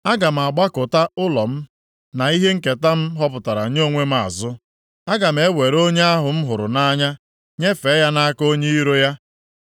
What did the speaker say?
“Aga m agbakụta ụlọ m na ihe nketa m họpụtara nye onwe m azụ. Aga m ewere onye ahụ m hụrụ nʼanya nyefee ya nʼaka onye iro ya.